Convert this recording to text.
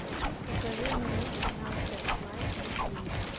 покажи мне канал фокс лайв на телевизоре